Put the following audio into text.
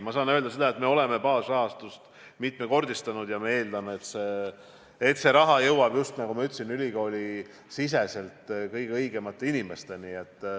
Ma saan öelda seda, et me oleme baasrahastust mitmekordistanud ja eeldame, et see raha jõuab just ülikooli sees kõige õigemate inimesteni.